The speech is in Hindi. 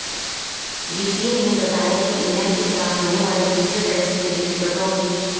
जीसीए ने बताया कि इंग्लैंड के खिलाफ होने वाले तीसरे टेस्ट के लिए टिकटों की